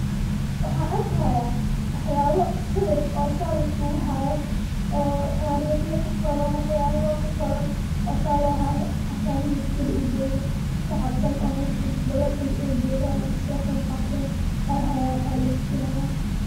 Wxan arkihaya waxyaba sawir oo saa liskugu hayo oo tariqya kuqoran waxyaba kuqoran oo saa lohayo hata nin askari u jogo shacab Dan oo mesh dhadbadan inay jogan kasoqeb qaten ayhayan alatusinaya.